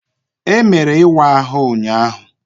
Emere ịwa ahụ ụnyaahụ.